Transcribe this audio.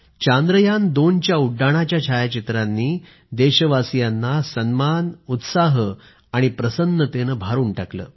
चांद्रयान2 च्या उड्डाणाच्या छायाचित्रांनी देशवासियांना सन्मान आणि जोश प्रसन्नतेने भरून टाकलं